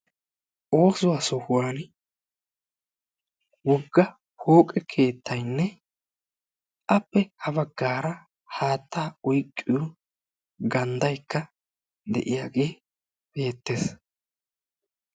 Oosuwa sohuwan wogga pooqe keettaynne appe ha baggaara haattaa oyqqiyo ganddaykka de"iyaagee beettes.